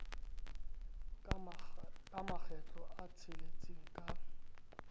ka makgetlo a tsheletseng ka